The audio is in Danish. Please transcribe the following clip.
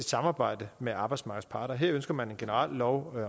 samarbejde med arbejdsmarkedets parter her ønsker man en generel lov